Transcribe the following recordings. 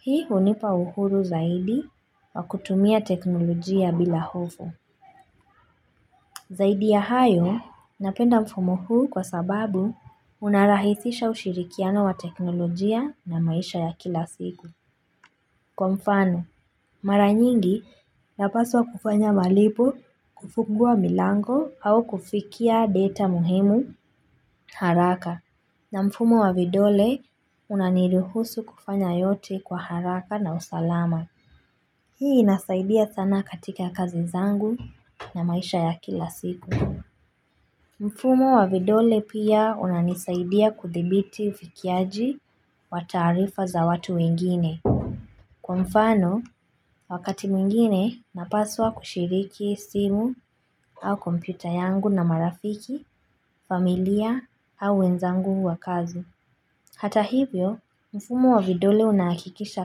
Hii hunipa uhuru zaidi wa kutumia teknolojia bila hofu. Zaidi ya hayo, napenda mfumo huu kwa sababu unarahisisha ushirikiano wa teknolojia na maisha ya kila siku. Kwa mfano, mara nyingi napaswa kufanya malipo, kufungua milango au kufikia data muhimu, haraka. Na mfumo wa vidole, unaniruhusu kufanya yote kwa haraka na usalama. Hii inasaidia sana katika kazi zangu na maisha ya kila siku. Mfumo wa vidole pia unanisaidia kudhibiti ufikiaji wa taarifa za watu wengine. Kwa mfano, wakati mwingine napaswa kushiriki simu au kompyuta yangu na marafiki, familia au wenzangu wa kazi. Hata hivyo, mfumo wa vidole unahakikisha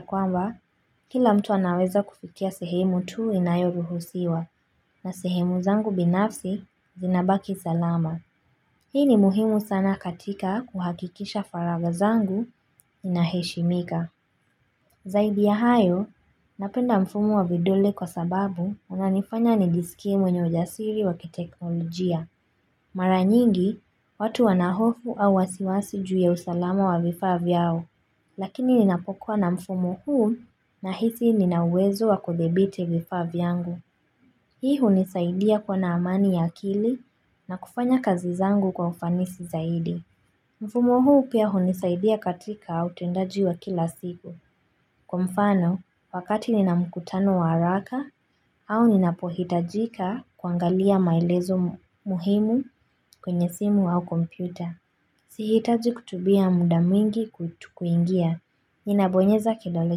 kwamba kila mtu anaweza kufikia sehemu tu inayoruhusiwa na sehemu zangu binafsi zinabaki salama. Hii ni muhimu sana katika kuhakikisha faragha zangu inaheshimika. Zaidi ya hayo, napenda mfumo wa vidole kwa sababu unanifanya nijisikie mwenye ujasiri wa kiteknolojia. Mara nyingi, watu wanahofu au wasiwasi juu ya usalama wa vifaa vyao, lakini ninapokuwa na mfumo huu nahisi nina uwezo wa kudhibiti vifaa vyangu. Hii hunisaidia kuwa na amani ya akili na kufanya kazi zangu kwa ufanisi zaidi. Mfumo huu pia hunisaidia katika au tendaji wa kila siku. Kwa mfano, wakati nina mkutano wa haraka au ninapohitajika kuangalia maelezo muhimu kwenye simu au kompyuta. Sihitaji kutumia muda mwingi kuingia. Ninabonyeza kidole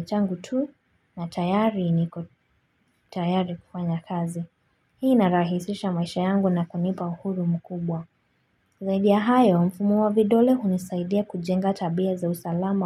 changu tu na tayari niko tayari kufanya kazi. Hii inarahisisha maisha yangu na kunipa uhuru mkubwa. Zaidi ya hayo mfumo wa vidole hunisaidia kujenga tabia za usalama.